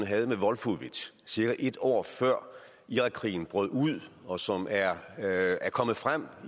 havde med wolfowitz cirka et år før irakkrigen brød ud og som er kommet frem